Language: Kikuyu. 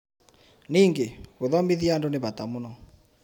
Ningĩ, gũthomithia andũ nĩ bata mũno.